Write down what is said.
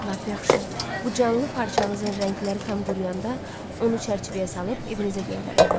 Lap yaxşı, bu canlı parçanızın rəngləri tam quruyanda onu çərçivəyə salıb evinizə göndərərəm.